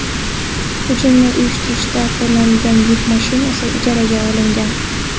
Hujumni uyushtirishda qo‘llanilgan yuk mashinasi ijaraga olingan.